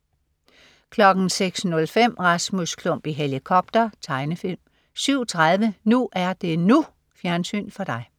06.05 Rasmus Klump i helikopter. Tegnefilm 07.30 NU er det NU. Fjernsyn for dig